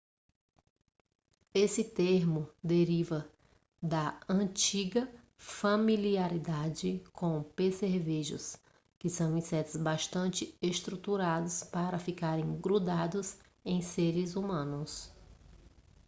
esse termo deriva da antiga familiaridade com percevejos que são insetos bastante estruturados para ficarem grudados em seres humanos